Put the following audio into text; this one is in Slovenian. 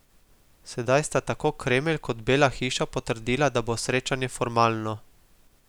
Sedaj sta tako Kremelj kot Bela hiša potrdila, da bo srečanje formalno.